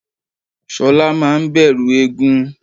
shola maa n bẹrú égún